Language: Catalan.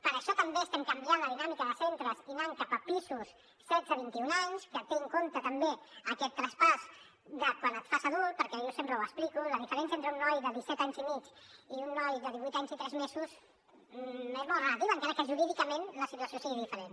per això també estem canviant la dinàmica de centres i anant cap a pisos de setze a vint i un anys que té en compte també aquest traspàs de quan et fas adult perquè jo sempre ho explico la diferència entre un noi de disset anys i mig i un noi de divuit anys i tres mesos és molt relativa encara que jurídicament la situació sigui diferent